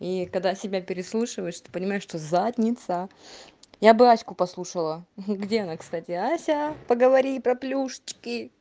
и когда себя переслушиваешь ты понимаю что задница я бы аську послушала где она кстати ася поговори про плюшечки